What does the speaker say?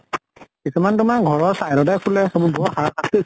কিছুমানে তোমাৰ ঘৰৰ side তে খোলে, বৰ হাৰা সাস্তি।